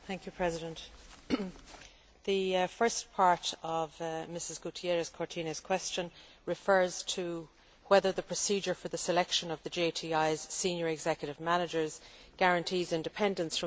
The first part of Mrs Gutiérrez Cortines' question refers to whether the procedure for the selection of the JTI's senior executive managers guarantees independence from the influence of large companies.